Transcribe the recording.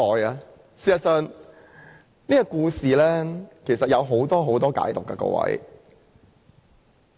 各位，事實上，這個故事有很多不同的解讀。